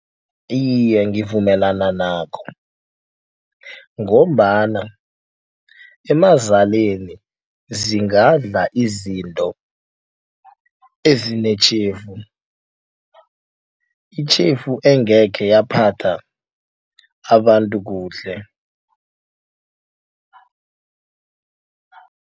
Iye, ngivumelana nakho ngombana emazaleni zingadla izinto ezinetjhefu. Itjhefu engekhe yaphatha abantu kuhle.